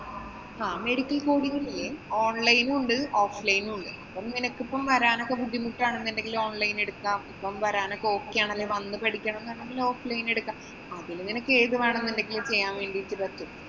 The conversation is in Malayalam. ആഹ് medical coding ഇല്ലേ online ഉം ഉണ്ട്. offline ഉം ഉണ്ട്. ഇപ്പൊ നിനക്ക് വരാനോക്കെ ബുദ്ധിമുട്ടാണെന്നുണ്ടെങ്കിലെ online എടുക്കാം. അപ്പൊ വരാനൊക്കെ okay ആണെങ്കില്‍ വന്നു പഠിക്കണമെന്നാണെങ്കില് offline എടുക്കാം. അതില് നിനക്ക് ഏതുവേണമെങ്കിലും ചെയ്യാന്‍ വേണ്ടീട്ട് പറ്റും.